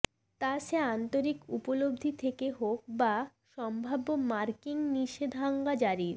তা সে আন্তরিক উপলব্ধি থেকে হোক বা সম্ভাব্য মার্কিন নিষেধাজ্ঞা জারির